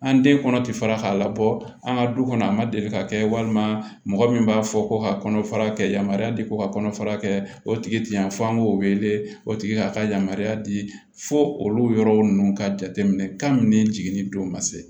An den kɔnɔ ti fara k'a labɔ an ka du kɔnɔ a ma deli ka kɛ walima mɔgɔ min b'a fɔ ko ka kɔnɔfara kɛ yamariya di ko ka kɔnɔfara kɛ o tigi ti yan fo an k'o wele o tigi ka ka yamaruya di fo olu yɔrɔw ninnu ka jateminɛ ka ne jiginni don ka se